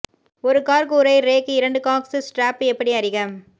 ஒரு கார் கூரை ரேக் இரண்டு காக்ஸ் ஸ்ட்ராப் எப்படி அறிக